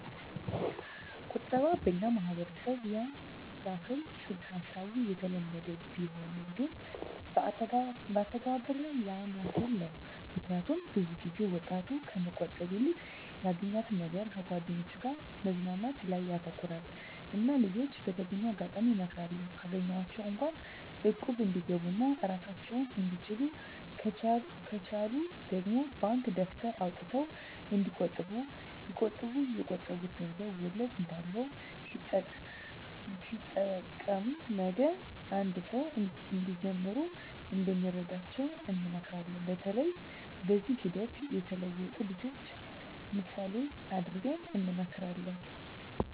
ቁጠባ በኛ ማህበረሰብ ያን የህል ፅንስ ሀሳቡ የተለመደ ቢሆንም ግን አተገባበር ላይ ያን የህል ነው ምክኒያቱም ብዙ ጊዜ ወጣቱ ከመቆጠብ ይልቅ ያገኛትን ነገር ከጓደኞቻቸው ጋር መዝናናት ላይ ያተኩራሉ እና ልጅች በተገኘው አጋጣሚ እመክራለሁ ካገኟት እንኳ እቁብ እንዲገቡ ኦና እራሳቸውን እንድችሉ ከቻሉ ደግሞ ባንክ ደብተር አውጥተው እንዲቆጥቡ ቢቆጥቡ የቆጠቡት ገንዘብ ወለድ እንዳለው ሲጠሬቀም ነገ አንድ ስራ እንዲጀምሩ እንደሚረዳቸው እንመክራለን በተለይ በዚህ ሂደት የተለወጡ ልጅችን ምሳሌ እደረግ እንመክራለን።